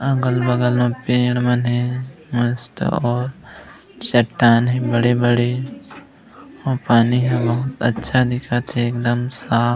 अगल -बगल में पेड़ मन हे मस्त और चट्टान हे बड़े-बड़े अऊ पानी ह बहुत अच्छा दिखत हे एकदम साफ--